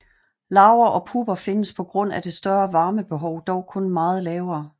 Larver og pupper findes på grund af det større varmebehov dog kun meget lavere